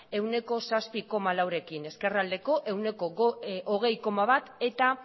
ehuneko zazpi koma laurekin ezkerraldeko ehuneko hogei koma bat eta